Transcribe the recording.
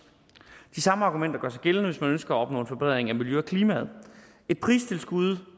de samme argumenter gør sig gældende hvis man ønsker at opnå en forbedring af miljøet og klimaet et pristilskud